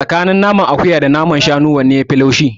Tsakanin naman akuya da naman shanu wanne yafi laushi?